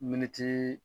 Militi